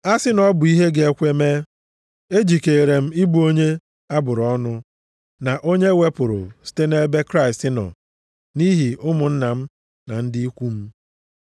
A sị na ọ bụ ihe ga-ekwe mee, ejikeere m ịbụ onye a bụrụ ọnụ na onye e wepụrụ site nʼebe Kraịst nọ nʼihi ụmụnna m na ndị ikwu m,